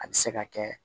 A bɛ se ka kɛ